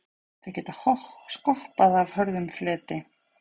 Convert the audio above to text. þau geta skoppað af hörðum fleti